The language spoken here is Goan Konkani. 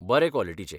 बरे क्वॉलिटीचे.